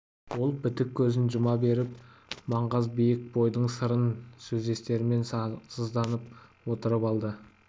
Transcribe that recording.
ол бітік көзін жұма беріп маңғаз биік бойдағы сырын сездірместен сызданып отырып алады